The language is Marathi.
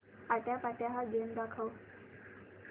आट्यापाट्या हा गेम दाखव